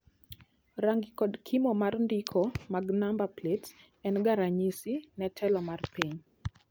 Rangi kod kimo mar ndiko mag namba plets en ga ranyisi ne telo mar piny.